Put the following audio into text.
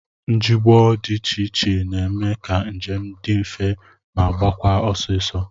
Njemụgbọ dị iche iche na-eme ka njem dị mfe ma gaakwa ọsịịsọ